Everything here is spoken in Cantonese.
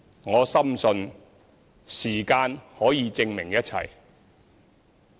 我深信，時間可以證明一切。